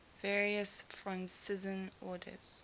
various franciscan orders